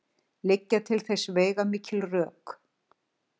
Liggja til þess veigamikil rök.